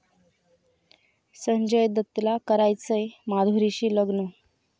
संजय दत्तला करायचंय माधुरीशी लग्न!